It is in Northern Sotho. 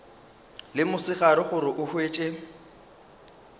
le mosegare gore o hwetše